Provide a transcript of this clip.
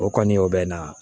O kɔni o bɛ na